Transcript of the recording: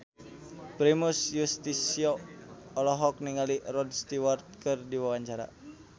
Primus Yustisio olohok ningali Rod Stewart keur diwawancara